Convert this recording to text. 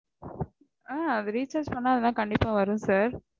ஆஹ் அது recharge பண்ணா அதுலாம் கண்டிப்பா வரும் sir